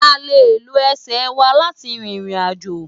À lé ló èsè wá láti ririnàjó